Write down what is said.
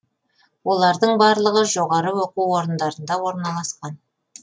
олардың барлығы жоғары оқу орындарында орналасқан